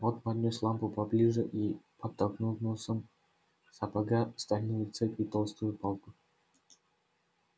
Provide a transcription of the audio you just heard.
он поднёс лампу поближе и подтолкнул носком сапога стальную цепь и толстую палку